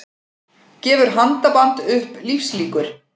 Gefur handaband upp lífslíkur